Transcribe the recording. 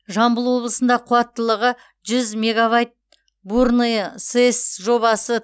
жамбыл облысында қуаттылығы жүз мегабайт бурное сэс жобасы